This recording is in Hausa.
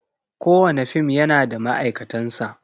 Kowane fim yana da ma'aikatansa.